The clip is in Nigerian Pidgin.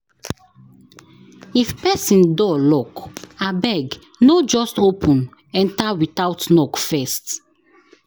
If pesin door lock, abeg no just open enter without knock first.